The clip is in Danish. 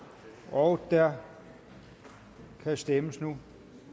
og der kan stemmes nu